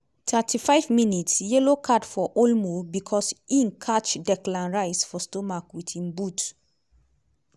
31 mins - yellow card for olmo becos e catch declan rice for stomach wit e boot.